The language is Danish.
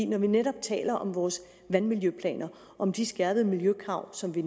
når vi netop taler om vores vandmiljøplaner om de skærpede miljøkrav som vi